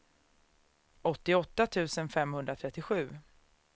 åttioåtta tusen femhundratrettiosju